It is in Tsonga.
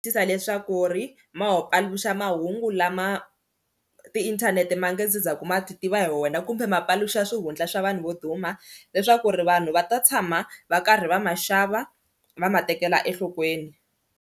Tisa leswaku ri ma paluxa mahungu lama tiinthanete ma nge se za ku ma ti tiva hi wena kumbe ma paluxa swihundla swa vanhu vo duma leswaku ri vanhu va ta tshama va karhi va ma xava va ma tekela enhlokweni.